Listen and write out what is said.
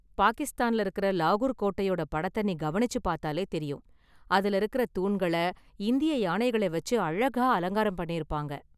பாகிஸ்தான்ல இருக்கற லாகூர் கோட்டையோட படத்தை நீ கவனிச்சு பார்த்தாலே தெரியும், அதுல இருக்குற தூண்கள இந்திய யானைகளை வச்சு அழகாக அலங்காரம் பண்ணிருப்பாங்க.